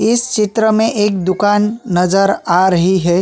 इस चित्र में एक दुकान नज़र आ रही है।